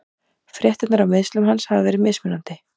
Fréttirnar af meiðslum hans hafa verið mismunandi.